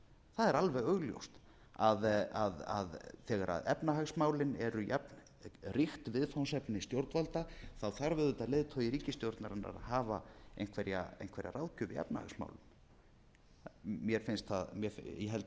það er alveg augljóst að þegar efnahagsmálin eru jafnríkt viðfangsefni stjórnvalda þarf auðvitað leiðtogi ríkisstjórnarinnar að hafa einhverja ráðgjöf í efnahagsmálum ég held að það eigi ekkert að þurfa að deila um